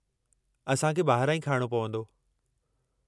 असां खे ॿाहिरां ई खाइणो पवंदो।